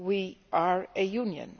We are a Union